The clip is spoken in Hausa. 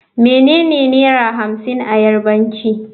Menene Naira hamsin a Yarbanci.